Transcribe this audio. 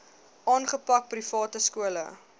aangepak private skole